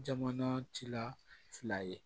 Jamana tila fila ye